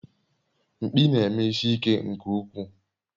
Mkpi na-eme isi ike nke ukwuu